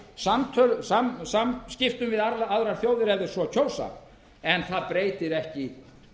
fréttatilkynningum niðurstöðum funda samskiptum við aðrar þjóðir ef þeir svo kjósa en það breytir ekki